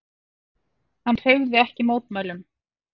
Hann hreyfði ekki mótmælum.